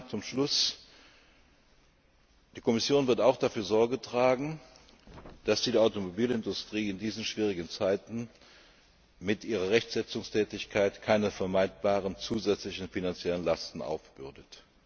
wird. Zum Schluss Die Kommission wird auch dafür Sorge tragen, dass sie der Automobilindustrie in diesen schwierigen Zeiten mit ihrer Rechtsetzungstätigkeit keine vermeidbaren zusätzlichen finanziellen Lasten aufbürdet.